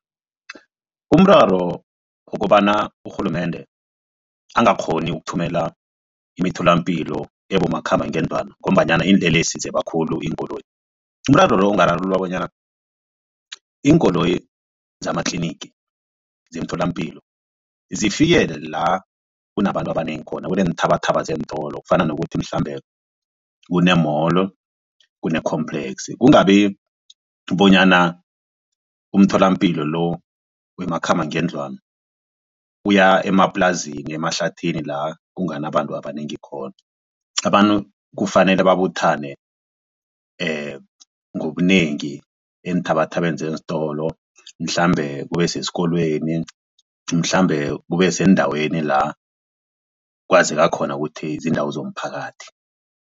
Umraro wokobana urhulumende angakghoni ukuthumela imitholampilo ebomakhambangendlwana ngombanyana iinlelesi zeba khulu iinkoloyi. Umraro lo ungararululwa bonyana iinkoloyi zamatlinigi zemtholampilo zifikele la kunabantu abanengi khona kuneenthabathaba zeentolo kufana nokuthi mhlambe kune-mall kune-complex kungabi bonyana umtholampilo lo wemakhambangendlwana uya emaplazini emahlathini la kunganabantu abanengi khona. Abantu kufanele babuthane ngobunengi eenthabathabeni zeentolo mhlambe kube sesikolweni mhlambe kube sendaweni la kwazeka khona ukuthi ziindawo zomphakathi.